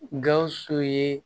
Gawusu ye